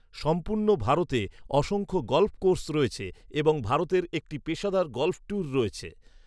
সম্পূর্ণ ভারতে অসংখ্য গলফ কোর্স রয়েছে এবং ভারতের একটি পেশাদার গলফ ট্যুর রয়েছে।